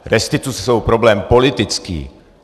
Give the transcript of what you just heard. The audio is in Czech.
Restituce jsou problém politický.